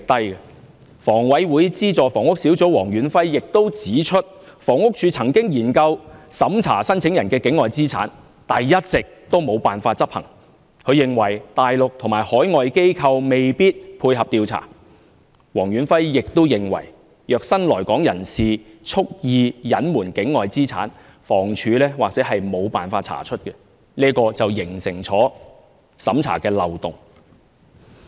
香港房屋委員會轄下的資助房屋小組委員會主席黃遠輝亦指出，房署曾研究審查申請人的境外資產，但一直也沒有辦法執行，他認為大陸及海外機構未必配合調查，黃遠輝亦認為，如新來港人士蓄意隱瞞境外資產，房署或許沒有辦法查出，形成審查的漏洞。